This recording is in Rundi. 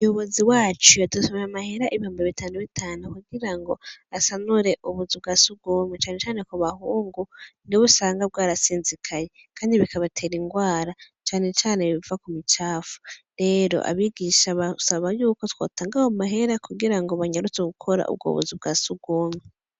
Umuyobozi wacu yadutumye amahera ibihumbi bitanu bitanu, kugira ngo asanure ubuzu bwa surwumwe, cane cane mu bahungu niho usanga bwarasinzikaye; kandi bikabatera indwara cane cane biva ku micafu. Rero abigisha basaba y'uko twotanga ayo mahera kugira ngo banyarutse gukora ubwo buzu bwa surwumwe.